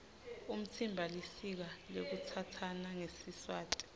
umtsimba lisiko lekutsatsana ngesiswati